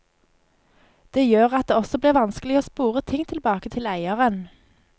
Det gjør at det også blir vanskelig å spore ting tilbake til eieren.